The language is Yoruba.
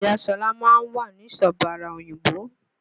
Ìya Ṣọlá ma ń wà nísọ bàra òyìnbó